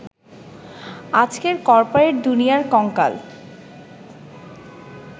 আজকের করপোরেট দুনিয়ার কঙ্কাল।